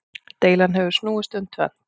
Deilan hefur snúist um tvennt.